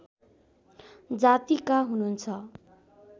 जातिका हुनुहुन्छ